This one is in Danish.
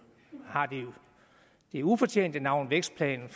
har det ufortjente navn vækstplanen